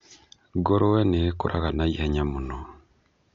Ngũrũe nĩ ikũraga naihenya muno.